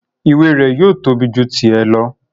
Ìwé rẹ̀ yóò tóbi ju tì ẹ lọ